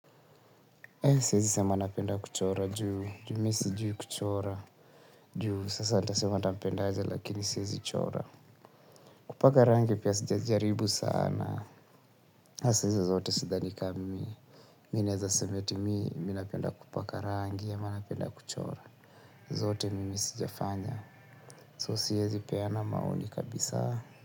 Siwezi sema napenda kuchora juu, juu mimi sijui kuchora, juu sasa nitasema napenda aje lakini siwezi chora. Kupaka rangi pia sijajaribu sana, sasa hizo zote sidhani kama mimi mimi naweza sema eti mimi, mimi napenda kupaka rangi ama napenda kuchora. Zote mimi sijafanya, so siwezi peana maoni kabisa.